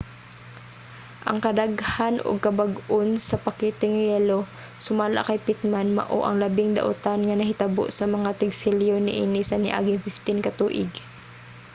ang kadaghan ug kabag-on sa pakete nga yelo sumala kay pittman mao ang labing daotan nga nahitabo sa mga tig-selyo niini sa niaging 15 ka tuig